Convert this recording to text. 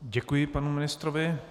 Děkuji panu ministrovi.